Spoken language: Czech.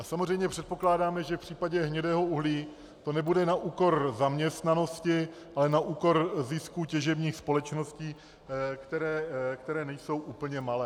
A samozřejmě předpokládáme, že v případě hnědého uhlí to nebude na úkor zaměstnanosti, ale na úkor zisku těžebních společností, které nejsou úplně malé.